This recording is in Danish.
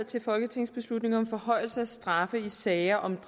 til folketingsbeslutning om forhøjelse af straffen i sager om